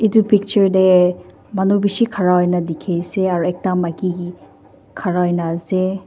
Etu picture dae manu beshi khara hoina dekhi ase aro ekta maki khara hoina ase.